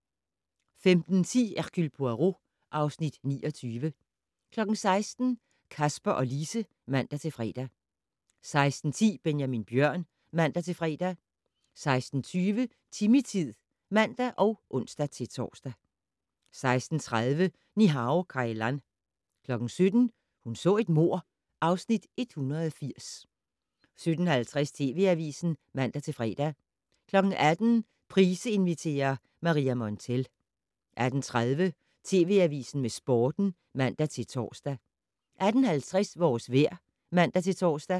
15:10: Hercule Poirot (Afs. 29) 16:00: Kasper og Lise (man-fre) 16:10: Benjamin Bjørn (man-fre) 16:20: Timmy-tid (man og ons-tor) 16:30: Ni-Hao Kai Lan 17:00: Hun så et mord (Afs. 180) 17:50: TV Avisen (man-fre) 18:00: Price inviterer - Maria Montell 18:30: TV Avisen med Sporten (man-tor) 18:50: Vores vejr (man-tor)